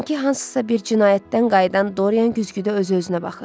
Sanki hansısa bir cinayətdən qayıdan Dorian güzgüdə özü-özünə baxır.